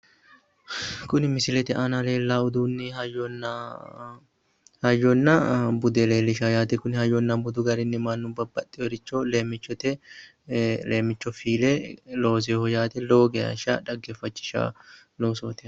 Kuni Misilete aana leellanno hayyona bude leellishshanno yaate konni hayyona budu garinni mannu babbaxinoricho leemmichotenni leemmicho fiile loosinoho yaate lowo geeshsha xaggeeffachishannoho.